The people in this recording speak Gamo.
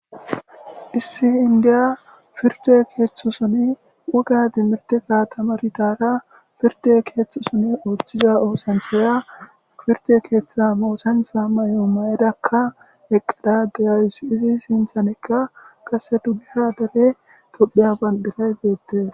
Issi endiya piirdde keeththasoni woga timirteza taamaridaga piirdde keeththazoni ootiza oosanchchiya piirdde keeththa oosanchcha mayo ma'adaka eqa de'awusu. Izzi sintanika qase dugeha gaden Thophphiya bandiray beetes.